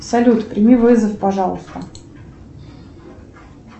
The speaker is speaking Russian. салют прими вызов пожалуйста